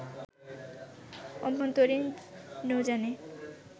অভ্যন্তরীণ নৌযানে